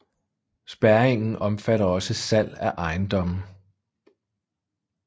Spærringen omfatter også salg af ejendomme